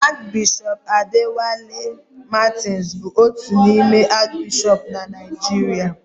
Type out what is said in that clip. Arch Bishop Adewale Martins bụ otu n'ime Arch bishọp na Naijiria